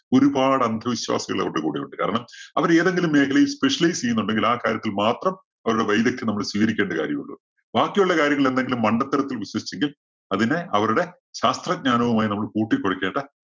ഒരുപാട് അന്ധവിശ്വാസികൾ അവരുടെ കൂടെയുണ്ട്. കാരണം അവര് ഏതെങ്കിലും മേഖലയിൽ specialize ചെയ്യുന്നുണ്ടെങ്കിൽ ആ കാര്യത്തിൽ മാത്രം അവരുടെ വൈദഗ്ദ്യം നമ്മള് സ്വീകരിക്കേണ്ട കാര്യമുള്ളൂ. ബാക്കിയുള്ള കാര്യങ്ങളിൽ എന്തെങ്കിലും മണ്ഡത്തരത്തിൽ വിശ്വസിച്ചെങ്കിൽ അതിനെ അവരുടെ ശാസ്ത്രജ്ഞാനവുമായി നമ്മൾ കൂട്ടിക്കുഴയ്ക്കേണ്ട